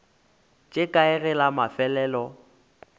tše kae ge la mafelelo